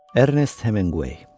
Ernest Hemingway.